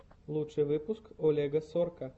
лучший выпуск олега сорка